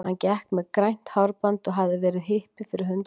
Hann gekk með grænt hárband og hafði verið hippi fyrir hundrað árum.